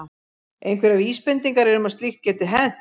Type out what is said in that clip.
Einhverjar vísbendingar eru um að slíkt geti hent.